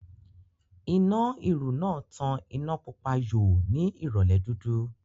Iná ìrù náà tàn iná Pupa yòò ní ìrọ̀lẹ́ dúdú